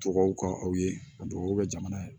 Tubabuw ka aw ye a duwawu kɛ jamana ye